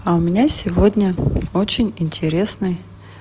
а у меня сегодня очень интересный